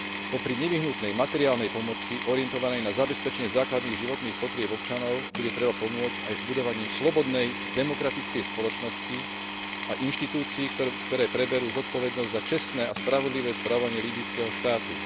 Popri nevyhnutnej materiálnej pomoci orientovanej na zabezpečenie základných životných potrieb občanov bude treba pomôcť aj s budovaním slobodnej demokratickej spoločnosti a inštitúcií, ktoré preberú zodpovednosť za čestné a spravodlivé správanie líbyjského štátu.